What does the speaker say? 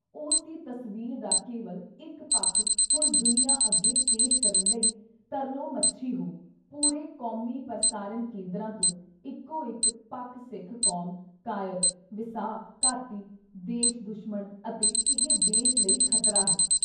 ਉਸ ਦੀ ਤਸਵੀਰ ਦਾ ਕੇਵਲ ਇੱਕ ਪੱਖ ਹੁਣ ਦੁਨੀਆਂ ਅੱਗੇ ਪੇਸ਼ ਕਰਨ ਲਈ ਤਰਲੋਮੱਛੀ ਹੋ, ਪੂਰੇ ਕੌਮੀ ਪ੍ਰਸਾਰਨ ਕੇਂਦਰਾਂ ਤੋਂ ਇੱਕੋ ਇੱਕ ਪੱਖ ਸਿੱਖ-ਕੌਮ ਕਾਇਰ, ਵਿਸਾਹ-ਘਾਤੀ, ਦੇਸ਼-ਦੁਸ਼ਮਣ ਅਤੇ ਇਹ ਦੇਸ਼ ਲਈ ਖ਼ਤਰਾ ਹੈ।